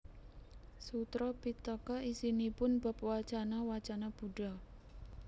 Sutra Pittaka isinipun bab wacana wacana Buddha